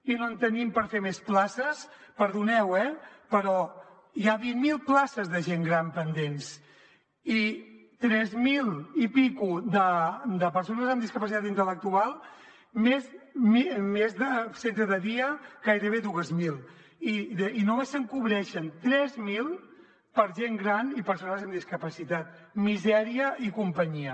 i no en tenim per fer més places perdoneu eh però hi ha vint mil places de gent gran pendents i tres mil i escaig de persones amb discapacitat intel·lectual més de centre de dia gairebé dues mil i només se’n cobreixen tres mil per a gent gran i persones amb discapacitat misèria i companyia